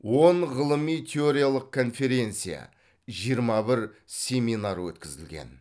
он ғылыми теориялық конференция жиырма бір семинар өткізілген